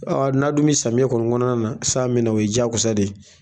Ɔ n'a dun bi samiyɛ kɔnɔna na san bɛ na o ye diyagosa de ye